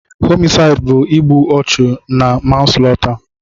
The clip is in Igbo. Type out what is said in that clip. Homisaịd bụ igbu ọchụ na manslọta.